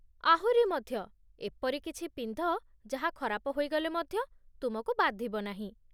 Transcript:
ଆହୁରି ମଧ୍ୟ, ଏପରି କିଛି ପିନ୍ଧ ଯାହା ଖରାପ ହୋଇଗଲେ ମଧ୍ୟ ତୁମକୁ ବାଧିବ ନାହିଁ!